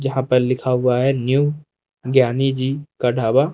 यहां पे लिखा हुआ है न्यू ज्ञानी जी का ढाबा।